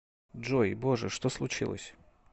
джой боже что случилось